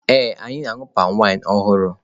Ee, anyị na-aṅụ palmwine ọhụrụ.